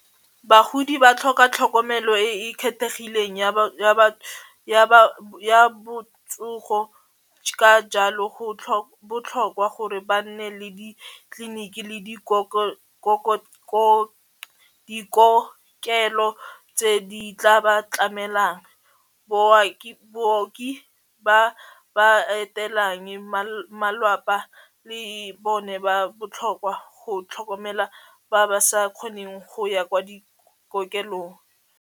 Bagodi ba tlhoka tlhokomelo e e kgethegileng ya botsogo ka jalo go botlhokwa gore ba nne le ditleliniki le dikokelo tse di tla ba tlamelang booki ba ba etelang malapa le bone ba botlhokwa go tlhokomela ba ba sa kgoneng go ya kwa dikokelong.